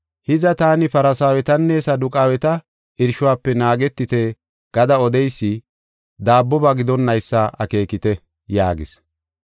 Hiza, taani Farsaawetanne Saduqaaweta irshuwafe naagetite gada odeysi daabboba gidonnaysa akeekeketii?” yaagis.